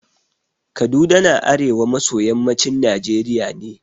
Kaduna na arewa maso yammacin Najeriya ne.